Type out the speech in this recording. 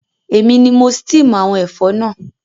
Èmi ni mo steam àwon ẹ̀fọ́ náà